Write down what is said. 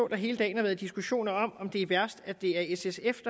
der hele dagen har været diskussioner om om det er værst at det er s sf